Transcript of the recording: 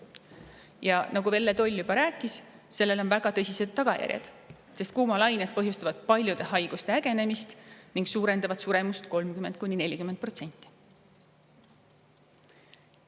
Ja nagu Velle Toll juba rääkis, on sellel väga tõsised tagajärjed, sest kuumalained põhjustavad paljude haiguste ägenemist ning suurendavad suremust 30–40%.